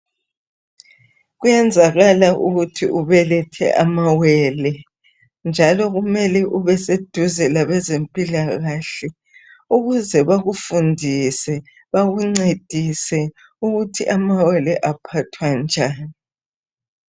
Kuyenzakala ukuthi ubelethe amawele njalo kumele ubeseduze labezempilakahle ukuze bekufundise bekungcedise ukuthi amawele aphathwa njani